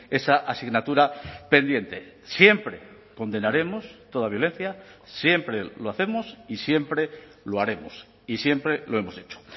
esa asignatura pendiente siempre condenaremos toda violencia siempre lo hacemos y siempre lo haremos y siempre lo hemos hecho